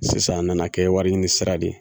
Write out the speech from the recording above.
Sisan an nana kɛ wari ɲini sira de ye